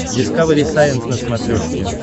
дискавери сайенс на смотрешке